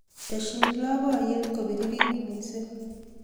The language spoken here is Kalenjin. Tesyi labkeiyet kopiririt mising